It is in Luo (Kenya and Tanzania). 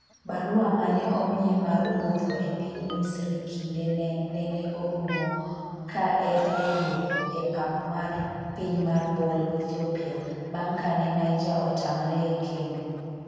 barua mane omiye mar wuotho e piny Misri kinde ne nene orumo ka en e yo e pap mar piny mar Bole, Ethiopia bang' kane Niger otamre e kendo